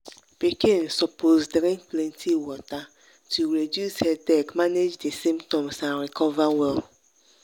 pikin suppose drink plenty water to reduce headache manage di symptoms and recover well.